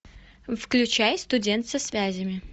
включай студент со связями